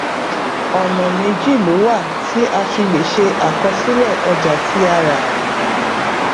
ọnà méjì ló wà tí a fi lè ṣe àkọsílẹ ọjà tí a rà